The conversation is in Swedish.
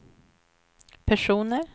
personer